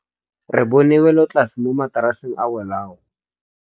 Re bone wêlôtlasê mo mataraseng a bolaô.